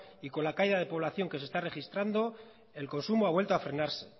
y con la caída de población que se está registrando el consumo ha vuelto a frenarse